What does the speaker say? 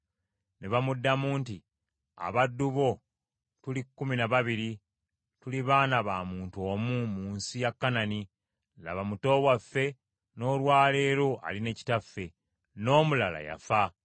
Ne bamuddamu nti, “Abaddu bo tuli kkumi na babiri, tuli baana ba muntu omu mu nsi ya Kanani, laba muto waffe n’olwa leero ali ne kitaffe, n’omulala yafa.”